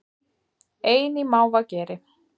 Ein í mávageri